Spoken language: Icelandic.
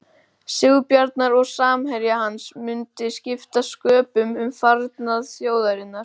Sigurbjarnar og samherja hans mundi skipta sköpum um farnað þjóðarinnar.